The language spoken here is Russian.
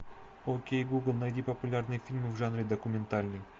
окей гугл найди популярные фильмы в жанре документальный